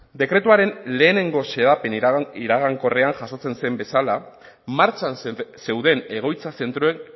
dekretuaren lehenengo xedapen iragankorrean jasotzen zen bezala martxan zeuden egoitza zentroek